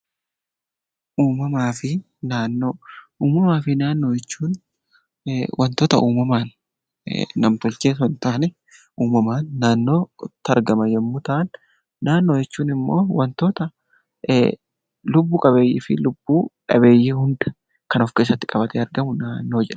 Uumamaa fi naannoo, uumamaa fi naannoo jechuun wantoota uumamaan nam-tolchee osoo hin taane uumamaan naannootti argaman yemmuu ta'an, naannoo jechuun immoo wantoota lubbu-qabeeyyii fi lubbu-dhabeeyyii hunda of keessatti qabatee argamu naannoo jedhama.